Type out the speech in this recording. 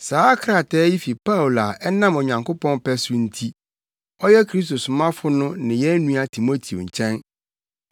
Saa krataa yi fi Paulo a ɛnam Onyankopɔn pɛ so nti, ɔyɛ Kristo somafo no ne yɛn nua Timoteo nkyɛn,